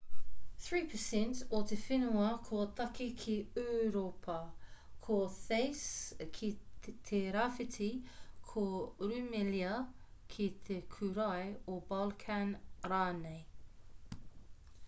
3% o te whenua ko tāke ki ūropa ko thace ki te rāwhiti ko rumelia ki te kūrae o balkan rānei